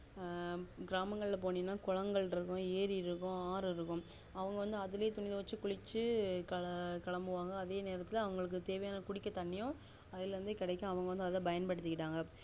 அஹ் கிராமங்கல்லாம் போண்ணினா குளங்கள் இருக்கும் ஏறி இருக்கும் ஆறு இருக்கும் அவங்க வந்து அதுலே துணி தொவைச்சு குளிச்சு கெல கெலம்புவாங்க அதே நேரத்துல அவங்களுக்கு தேவையான குடிக்க தண்ணியும் அதுல இறுந்தே கெடைக்கும் அவங்க அதையே பண்யன்படுத்திக்கிட்டாங்க